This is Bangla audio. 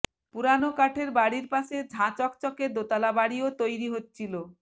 পুরানো কাঠের বাড়ির পাশে ঝাঁ চকচকে দোতলা বাড়িও তৈরি হচ্ছিল